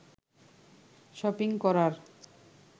shopping করার